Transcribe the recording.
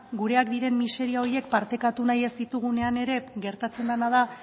gureak diren miseria horiek partekatu nahi ez ditugunean ere gertatzen dena da